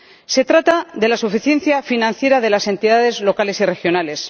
Se trata de la suficiencia financiera de las entidades locales y regionales.